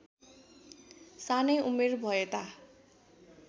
सानै उमेर भएता